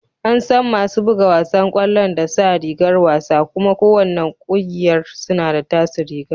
An san masu buga wasan kwallon da sa rigar wasa kuma ko wanna kungiyar suna da taso rigar.